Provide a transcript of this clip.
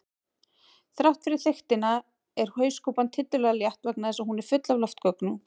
Þrátt fyrir þykktina er hauskúpan tiltölulega létt vegna þess að hún er full af loftgöngum.